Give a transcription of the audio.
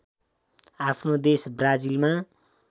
आफ्नो देश ब्राजिलमा